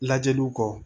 Lajɛliw kɔ